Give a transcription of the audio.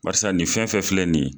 Barisa nin fɛn fɛn filɛ nin ye